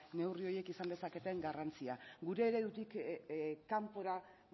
neurri horiek izan dezaketen garrantzia gure eredutik kanpora